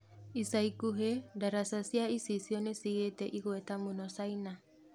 Ica ikuhĩ ndaraca cia icicio nĩcigĩte ĩgweta mũno China.